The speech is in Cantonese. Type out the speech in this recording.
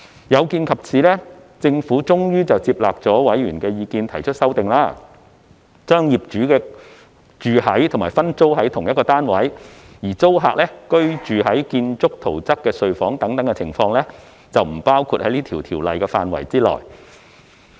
有見及此，政府最終接納了委員的意見提出修訂，將業主居於及分租同一單位、而租客居於建築圖則中被劃定為睡房的處所等情況，不包括在《條例草案》的範圍內。